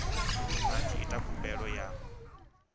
vha tshi ita khumbelo ya